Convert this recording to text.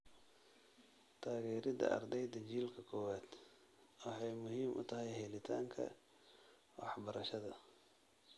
Taageerida ardayda jiilka kowaad waxay muhiim u tahay helitaanka waxbarashada.